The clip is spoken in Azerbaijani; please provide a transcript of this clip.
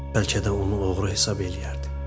Bəlkə də onu oğru hesab eləyərdi.